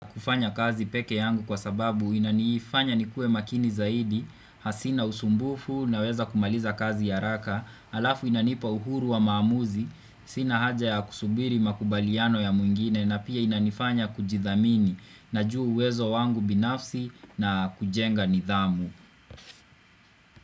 Kufanya kazi peke yangu kwa sababu inanifanya nikuwe makini zaidi hasi na usumbufu naweza kumaliza kazi haraka Alafu inanipa uhuru wa maamuzi Sina haja ya kusubiri makubaliano ya mwingine na pia inanifanya kujithamini Najuwa wezo wangu binafsi na kujenga nidhamu.